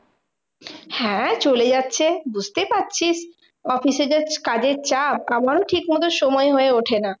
হ্যাঁ চলে যাচ্ছে বুঝতে পারছিস, অফিসে যা কাজের চাপ আমারও ঠিক মতো সময় হয়ে ওঠেনা।